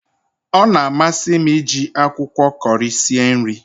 Ọ na amasi m iji akwụkwọ Kọri sie nri